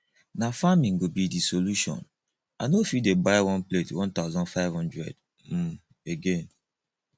na farming go be de solution i no fit dey buy one plate 1500 um again